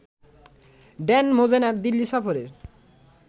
Dan Mozena Delhi সফরের